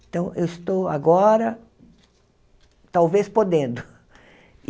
Então, eu estou agora talvez podendo.